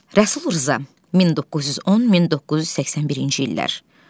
Rəsul Rza 1910-1981-ci illər.